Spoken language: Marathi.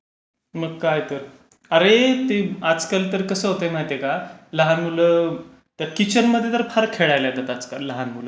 मग काय तर. अरे आजकाल तर कसं होतय माहिताय का? लहान मुलं तर किचनमध्ये फार खेळायला येतात आजकाल लहान मुलं.